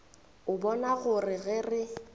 a bona gore ge re